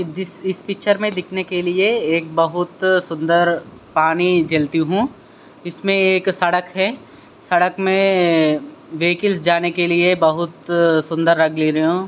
this इस picture मे दिखने के लिए एक बहुत सुंदर पानी जलती हु इसमे एक सड़क है सड़क मे वेहिकिल्स जाने के लिए बहुत सुंदर --